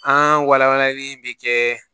An walankalanli in bɛ kɛ